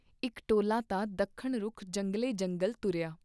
ਇਕ ਟੋਲਾ ਤਾਂ ਦੱਖਣ ਰੁਖ ਜੰਗਲੇ ਜੰਗਲ ਤੁਰਿਆ